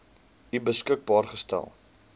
u beskikbaar gestel